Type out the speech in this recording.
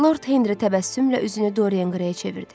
Lord Henri təbəssümlə üzünü Doryan Qreyə çevirdi.